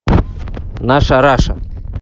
наша раша